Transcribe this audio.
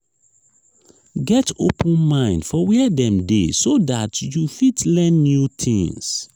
get open mind for where dem de so that you fit learn new things